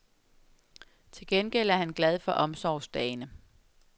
Til gengæld er han glad for omsorgsdagene.